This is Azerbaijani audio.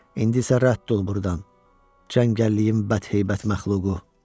İndi isə rədd ol burdan Cəngəlliyin bət-heybət məxluqu.